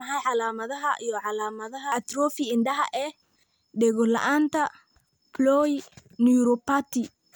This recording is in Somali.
Waa maxay calaamadaha iyo calaamadaha atrophy indhaha ee dhego la'aanta polyneuropathy?